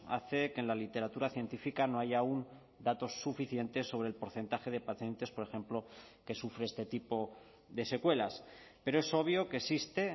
hace que en la literatura científica no haya aún datos suficientes sobre el porcentaje de pacientes por ejemplo que sufre este tipo de secuelas pero es obvio que existe